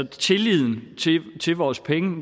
tilliden til vores penge